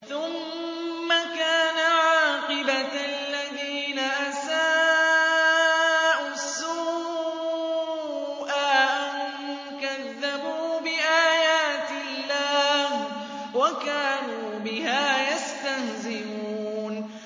ثُمَّ كَانَ عَاقِبَةَ الَّذِينَ أَسَاءُوا السُّوأَىٰ أَن كَذَّبُوا بِآيَاتِ اللَّهِ وَكَانُوا بِهَا يَسْتَهْزِئُونَ